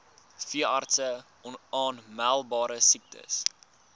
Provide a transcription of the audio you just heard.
veeartse aanmeldbare siektes